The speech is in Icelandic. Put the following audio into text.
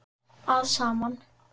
að saman.